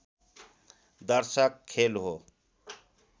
दर्शक खेल हो